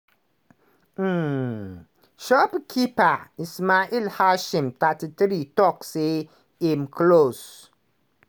um shopkeeper ismael hashi 33 tok say im close